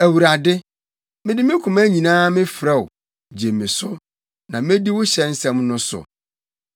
Awurade, mede me koma nyinaa mefrɛ wo, gye me so, na medi wo hyɛ nsɛm no so.